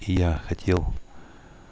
я хотел